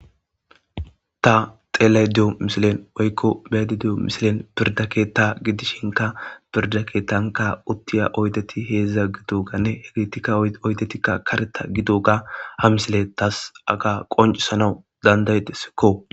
Ta xelayido missile woyiko be7ayide diyo missilen firide keththa gidishinka firide keththanika utiyo oyidet hezha gidogan etika oyidet kareta gidoga ha missiley tas haga qonicisanawu danda7idesiko.